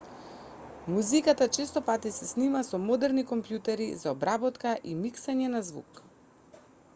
музиката честопати се снима со модерни компјутери за обработка и миксање на звук